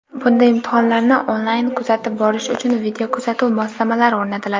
bunda imtihonlarni onlayn kuzatib borish uchun videokuzatuv moslamalari o‘rnatiladi;.